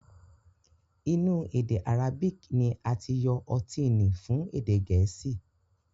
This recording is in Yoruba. Inu ede Arabic ni ati yo oti ni fun ede geesi